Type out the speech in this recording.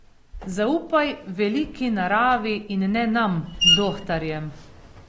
Zaupaj veliki Naravi in ne nam, dohtarjem.